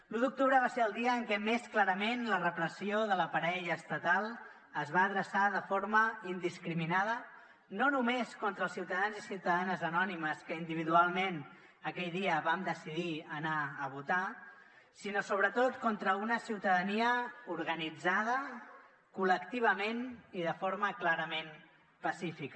l’u d’octubre va ser el dia en què més clarament la repressió de l’aparell estatal es va adreçar de forma indiscriminada no només contra els ciutadans i ciutadanes anònimes que individualment aquell dia vam decidir anar a votar sinó sobretot contra una ciutadania organitzada col·lectivament i de forma clarament pacífica